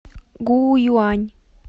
гуюань